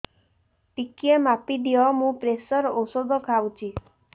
ଟିକେ ମାପିଦିଅ ମୁଁ ପ୍ରେସର ଔଷଧ ଖାଉଚି